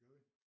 Javel